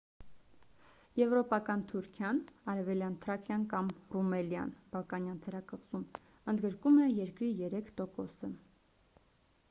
եվրոպական թուրքիան արևելյան թրակիան կամ ռումելիան՝ բալկանյան թերակղզում ընդգրկում է երկրի 3%-ը: